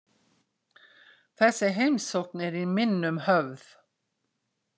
Þessi heimsókn er í minnum höfð.